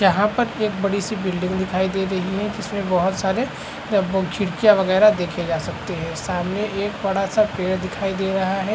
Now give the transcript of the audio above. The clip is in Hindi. यहाँ पर एक बड़ी सी बिल्डिंग दिखाई दे रही है जिसमें बहुत सारे खिड़कियाँ वैगरा देखे जा सकते है सामने एक बड़ा सा पेड़ दिखाई दे रहा है।